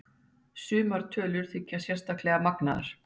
Sumar tölur þykja sérstaklega magnaðar.